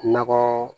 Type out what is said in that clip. Nɔgɔ